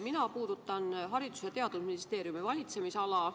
Mina puudutan Haridus- ja Teadusministeeriumi valitsemisala.